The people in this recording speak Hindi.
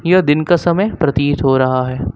यह दिन का समय प्रतीत हो रहा है।